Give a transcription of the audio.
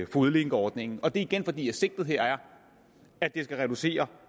fodlænkeordningen og det er igen fordi sigtet her er at det skal reducere